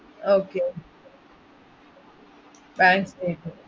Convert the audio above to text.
okay bank statement